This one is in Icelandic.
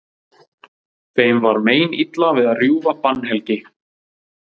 Þeim var meinilla við að rjúfa bannhelgi